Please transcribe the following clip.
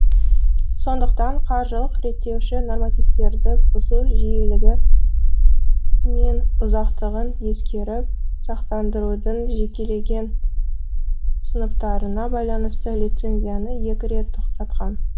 сондықтан қаржылық реттеуші нормативтерді бұзу жиілігі мен ұзақтығын ескеріп сақтандырудың жекелеген сыныптарына байланысты лицензияны екі рет тоқтатқан